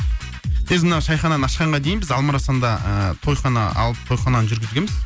біз мына шайхананы ашқанға дейін біз алма арасанда ыыы тойхана алып тойхананы жүргізгенбіз